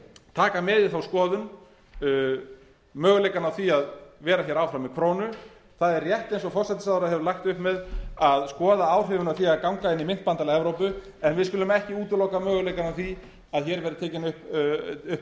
taka með í þá skoðun möguleikana á því að vera hér áfram með krónu það er rétt eins og forsætisráðherra hefur lagt upp með að skoða áhrifin af því að ganga inn í myntbandalag evrópu en við skulum ekki útiloka möguleikana á því að hér verði tekinn upp